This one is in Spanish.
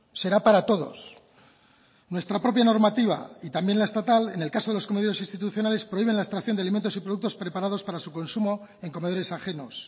será para todos nuestra propia normativa y también la estatal en el caso de los comedores institucionales prohíben la extracción de alimentos y productos preparados para su consumo en comedores ajenos